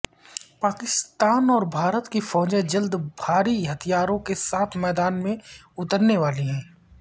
پاکستان اور بھارت کی فوجیں جلد بھاری ہتھیاروں کے ساتھ میدان میں اترنے والی ہیں